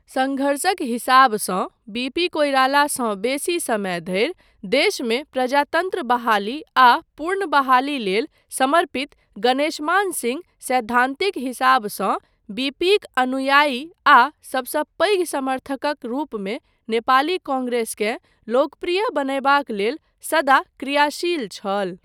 सङ्घर्षक हिसाबसँ बीपी कोइरालासँ बेसी समय धरि देशमे प्रजातन्त्र बहाली आ पुर्नबहाली लेल समर्पित गणेशमान सिंह सैद्धान्तिक हिसाबसँ बीपीक अनुयायी आ सबसँ पैघ समर्थकक रूपमे नेपाली कांग्रेसकेँ लोकप्रिय बनयबाक लेल सदा क्रियाशिल छल।